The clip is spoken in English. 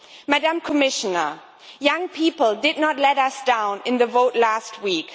Madam Commissioner, young people did not let us down in the vote last week.